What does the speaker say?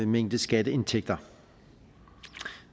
mængde skatteindtægter